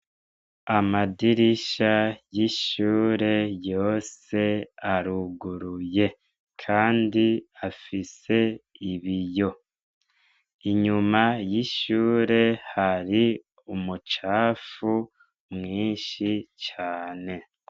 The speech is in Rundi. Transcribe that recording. Amadirisha y'ishure yose aruguruye Kandi afsie ibiyo , inyuma y'ishure hari umucafu mwinshi cane.